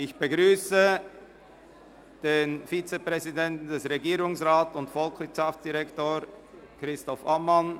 Ich begrüsse den Vizepräsidenten des Regierungsrats, Volkswirtschaftsdirektor Christoph Ammann.